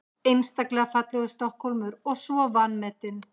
Einstaklega fallegur Stokkhólmur og svo vanmetinn.